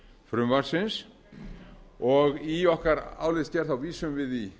tekjuhlið fjárlagafrumvarpsins og í okkar álitsgerð vísum í